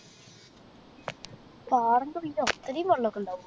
പാറൻറെ ഉള്ളില് അത്രേം വെള്ളൊക്കെ ഇണ്ടാവോ